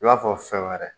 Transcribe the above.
I b'a fɔ fɛn wɛrɛ